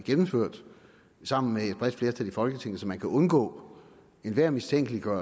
gennemført sammen med et bredt flertal i folketinget så man kan undgå enhver mistanke